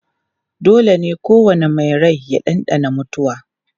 Dole ne kowane mai rai ya ɗanɗana mutuwa